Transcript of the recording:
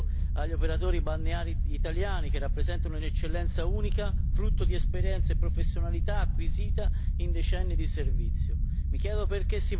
Mi riferisco, ad esempio, agli operatori balneari italiani che rappresentano un'eccellenza unica, frutto di esperienza e professionalità acquisite in decenni di servizio.